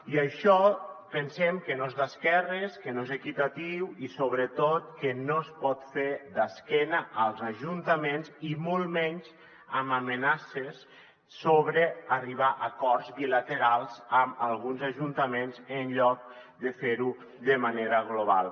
i això pensem que no és d’esquerres que no és equitatiu i sobretot que no es pot fer d’esquena als ajuntaments i molt menys amb amenaces sobre arri·bar a acords bilaterals amb alguns ajuntaments en lloc de fer·ho de manera global